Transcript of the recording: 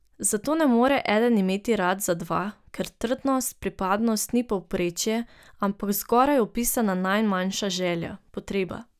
Zato ne more eden imeti rad za dva, ker trdnost, pripadnost ni povprečje, ampak zgoraj opisana najmanjša želja, potreba.